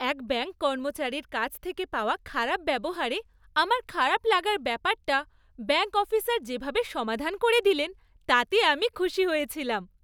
এক ব্যাঙ্ক কর্মচারীর কাছ থেকে পাওয়া খারাপ ব্যবহারে আমার খারাপ লাগার ব্যাপারটা ব্যাঙ্ক অফিসার যেভাবে সমাধান করে দিলেন তাতে আমি খুশি হয়েছিলাম।